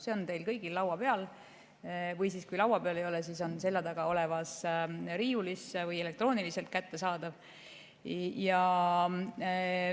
See on teil kõigil laua peal, ja kui laua peal ei ole, siis on see selja taga olevas riiulis või elektrooniliselt kättesaadav.